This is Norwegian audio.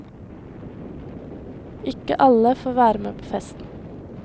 Ikke alle får være med på festen.